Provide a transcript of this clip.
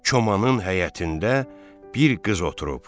Komanın həyətində bir qız oturub.